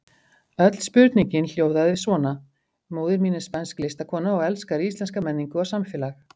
Öll spurningin hljóðaði svona: Móðir mín er spænsk listakona og elskar íslenska menningu og samfélag.